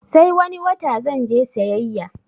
Sai wani wata zanje sayayya